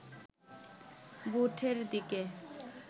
বুথের দিকে